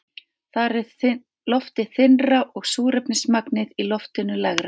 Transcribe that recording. Þar er loftið þynnra og súrefnismagnið í loftinu lægra.